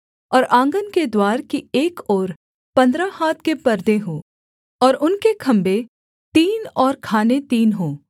और आँगन के द्वार की एक ओर पन्द्रह हाथ के पर्दे हों और उनके खम्भे तीन और खाने तीन हों